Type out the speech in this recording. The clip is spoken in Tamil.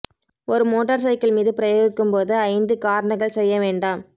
ஒரு மோட்டார் சைக்கிள் மீது பிரயோகிக்கும் போது ஐந்து காரணங்கள் செய்ய வேண்டாம்